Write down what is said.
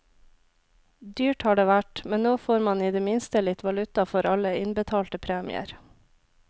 Dyrt har det vært, men nå får man i det minste litt valuta for alle innbetalte premier.